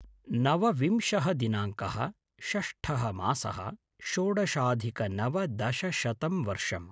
नवविंशः दिनाङ्कः-षष्ठः मासः-षोडशाधिकनवदशशतं वर्षम्